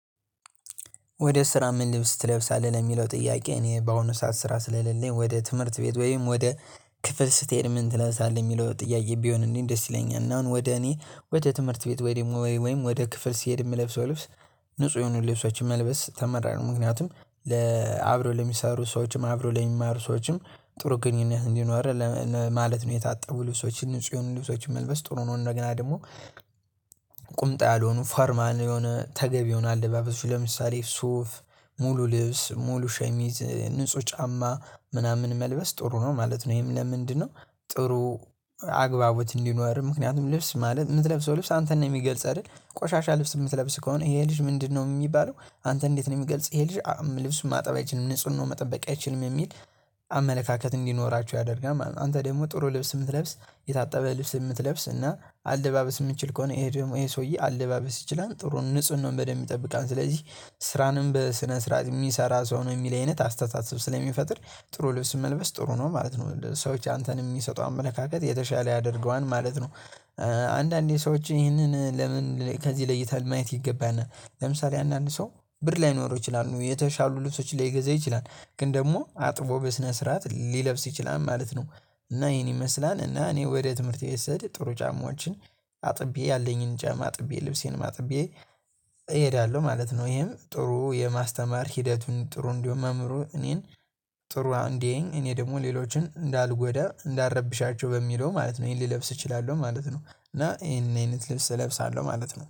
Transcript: ወደ ስራ ምን ልብስ ትለብሳለህ ለሚለው ጥያቄ እኔ በአሁኑ ሰዓት ስራ ስለሌለኝ ወደ ትምህርት ቤት ወይም ወደ ክፍል ስትሄድ ምን ትለብሳለህ የሚለው ጥያቄ ቢሆን እንዴ ደስ ይለኛል። እና አሁን ወደ እኔ ወደ ትምህርት ቤት ወይ ደግሞ ወይ ወይ ወይም ወደ ክፍል ሲሄድ የምለብሰው ልብስ ንጹህ የሆኑ ልብሶችን መልበስ ተመራጭ ምክንያቱም ለሚሰሩ ሰወች ለሚማሩ ሰዎችም ጥሩ ግንኙነት እንዲኖር ማለት ነው። የታጠቡ ልብሶችን ንጹህን ልብሶችን መልበስ ጥሩ ነው። እንደገና ደግሞ ቁምጣ ያልሆኑ ፎርማ የሆነ ተገቢ የሆነ አለባበሱ ለምሳሌ ሱፍ ሙሉ ልብስ ሙሉ ሸሚዝ ንጹህ ጫማ ምናምን መልበስ ጥሩ ነው ማለት ነው። ይሄም ለምንድነው ጥሩ አግባቦት እንዲኖርህ ምክንያቱም ልብስ ማለት የምትለብሰው ልብስ አንተን ነው የሚገልጽ አይደል? ቆሻሻ ልብስ የምትለብስ ከሆነ ይሄ ልጅ ምንድነው የሚባለው? አንተ እንዴት ነው የሚገልጽ ይሄ ልጅ ልብስ ማጠብ አይችልም ንጹህ ነው መጠበቅ አይችልም የሚል አመለካከት እንዲኖራቸው ያደርጋል። አንተ ደግሞ ጥሩ ልብስ የምትለብስ የታጠበ ልብስ የምትለብስ እና አለባበስ የምትችል ከሆነ ይሄ ደግሞ ይሄ ሰውዬ አለባበስ ይችላል ጥሩ ንጹህ ነው። በደንብ የሚጠብቃን ስለዚህ ስራንም በስነ ስርዓት የሚሰራ ሰው ነው የሚል አይነት አስተሳሰብ ስለሚፈጥር ጥሩ ልብስ መልበስ ጥሩ ነው ማለት ነው። ሰዎች አንተን የሚሰጡ አመለካከት የተሻለ ያደርገዋል ማለት ነው። አንዳንዴ ሰዎች ይህንን ለምን ከዚህ ለይተሃል ማየት ይገባናል። ለምሳሌ አንዳንድ ሰው ብር ላይኖረው ይችላሉ የተሻሉ ልብሶች ላይገዛ ይችላል ግን ደግሞ አጥቦ በስነ ስርዓት ሊለብስ ይችላል ማለት ነው። እና ይሄን ይመስላል እና እኔ ወደ ትምህርት ስሄድ ጥሩ ጫማዎችን አጥቤ ያለኝን ጫማ አጥቤ ልብሴን ማጥቤ እሄዳለሁ ማለት ነው። ይሄም ጥሩ የማስተማር ሂደቱን ጥሩ እንዲሁ መምህሩ እኔን ጥሩ እንዲህ እኔ ደግሞ ሌሎችን እንዳልጎዳ እንዳረብሻቸው በሚለው ማለት ነው ይሄን ልለብስ እችላለሁ ማለት ነው። እና ይሄን አይነት ልብስ እለብሳለሁ ማለት ነው